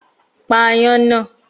Pa aáyán náà